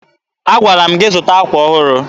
Agwara m gị zụta akwa ọhụrụ.